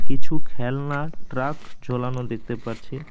কিছু খেলনা ট্রাক ঝোলানো দেখতে পারছি।